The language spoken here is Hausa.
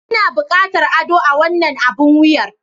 Ina buƙatar ado a wannan abun wuyar.